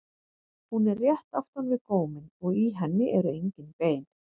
Hún er rétt aftan við góminn og í henni eru engin bein.